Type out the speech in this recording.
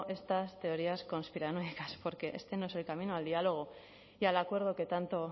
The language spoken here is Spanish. estas teorías conspiranoicas porque este no es el camino al diálogo y al acuerdo que tanto